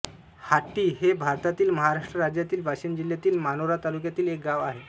हाट्टी हे भारतातील महाराष्ट्र राज्यातील वाशिम जिल्ह्यातील मानोरा तालुक्यातील एक गाव आहे